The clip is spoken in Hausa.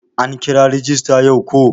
An kira rajista yau ko?